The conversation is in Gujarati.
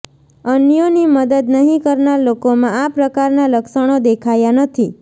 અન્યોની મદદ નહીં કરનાર લોકોમાં આ પ્રકારના લક્ષણો દેખાયા નથી